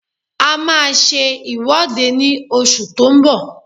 A máa ṣe ìwọ́de ní oṣù tó ń bọ̀